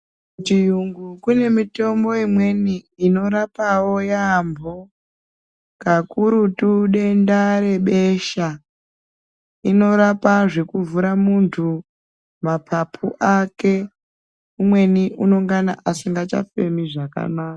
Kuchiyungu kune mitombo imweni inorapawo yaambho kakurutu denda rebesha inorapa zvekuvhura munthu mapapu ake umweni unongana asikachafemi zvakanaka.